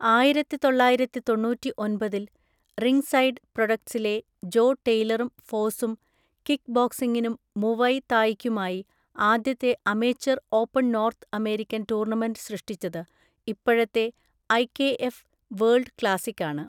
ആയിരത്തിതൊള്ളയിരത്തിതൊണ്ണൂറ്റിഒൻപതിൽ Ringside പ്രൊഡക്ട്സിലെ Joe ടെയ്ലറും ഫോസും കിക്ക്ബോക്സിംഗിനും മുവൈ തായിയ്ക്കുമായി ആദ്യത്തെ amateur open North American tournament സൃഷ്ടിച്ചത്. ഇപ്പഴത്തേ ഐ കെ ഫ് വേൾഡ് ക്ലാസിക്കാണ്.